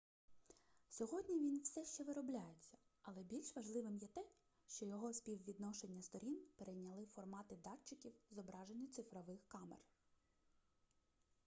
сьогодні він все ще виробляється але більш важливим є те що його співвідношення сторін перейняли формати датчиків зображення цифрових камер